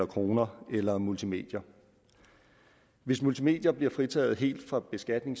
kroner eller i multimedier hvis multimedier bliver fritaget helt for beskatning